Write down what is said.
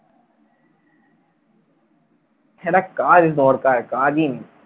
একটা কাজ দরকার, কাজই নেই।